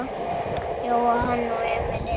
Jóhann og Emil inn?